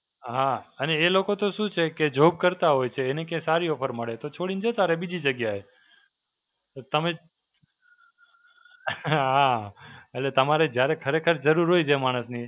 હાં, અને એ લોકો તો શું છે કે જોબ કરતા હોય છે એને કે સારી offer મળે તો છોડીને જતા રહે બીજી જગ્યાએ. તમે, હાં, એટલે તમારે જ્યારે ખરેખર જરૂર હોય છે માણસની,